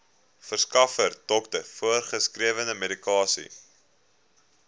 verskaffer dokter voorgeskrewemedikasie